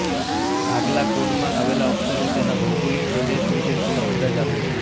આગલા કોડમાં આવેલા અક્ષરો તેના ભૌગોલિક પ્રદેશ વિશે થોડો અંદાજ આપે છે